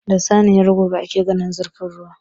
Da saniyar gaba ake gane zurfin ruwa.